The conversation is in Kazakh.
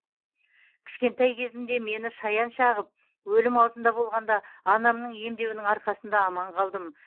кішкентай кезімде мені шаян шағып өлім аузында болғанда анамның емдеуінің арқасында аман қалдым